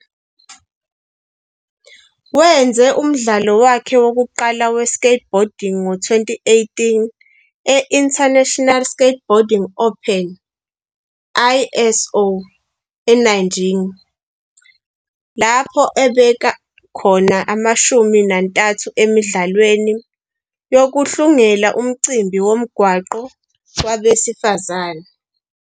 Wenze umdlalo wakhe wokuqala we-skateboarding ngo-2018 e-International Skateboarding Open, ISO, eNanjing, lapho abeka khona ishumi nantathu emidlalweni yokuhlungela umcimbi womgwaqo wabesifazane.